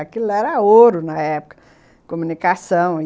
Aquilo era ouro na época, comunicação.